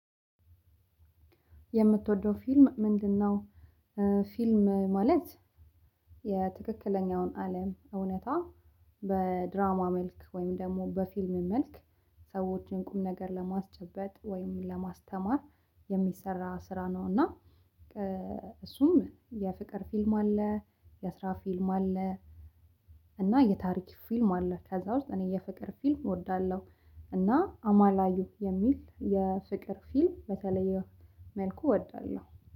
የምትወደው ፊልም ምንድነው? ፊልም ማለት የትክክለኛውን አለም እውነታ በድራማ መልክ ወይም ደግሞ በፊልም መልክ ሰዎችን ቁም ነገር ለማስጨበጥ ወይም ለማስተማር የሚሰራ ስራ ነው። እና እሱም የፍቅር ፊልም አለ የስራ ፊልም አለ። እና የታሪክ ፊልም አለ ከዛ ውስጥ እኔ የፍቅር ፊልም እወዳለሁ። እና አማላዩ የሚል የፍቅር ፊልም በተለየ መልኩ እወዳለሁ